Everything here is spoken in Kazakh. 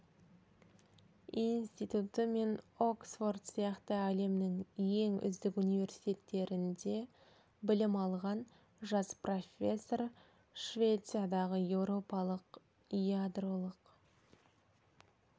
институты мен оксфорд сияқты әлемнің ең үздік университеттерінде білім алған жас профессор швециядағы еуропалық ядролық